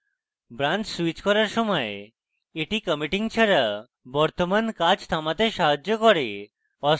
branches switch হওযার সময় এটি committing ছাড়া বর্তমান কাজ থামাতে সাহায্য করে